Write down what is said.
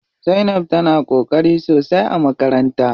Zainab tana ƙoƙari sosai a makaranta.